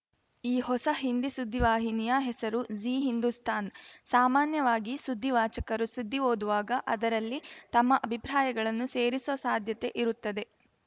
ಈ ಹೊಸ ಹಿಂದಿ ಸುದ್ದಿವಾಹಿನಿಯ ಹೆಸರು ಝೀ ಹಿಂದುಸ್ತಾನ್‌ಸಾಮಾನ್ಯವಾಗಿ ಸುದ್ದಿವಾಚಕರು ಸುದ್ದಿ ಓದುವಾಗ ಅದರಲ್ಲಿ ತಮ್ಮ ಅಭಿಪ್ರಾಯಗಳನ್ನು ಸೇರಿಸುವ ಸಾಧ್ಯತೆ ಇರುತ್ತದೆ